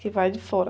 Que vai de fora.